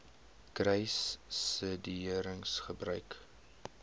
kruissubsidiëringgebruik